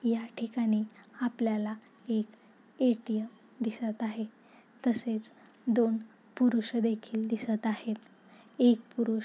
या ठिकाणी आपल्याला एक ए.टी.एम दिसत आहे तसेच दोन पुरुष देखिल दिसत आहेत एक पुरूष--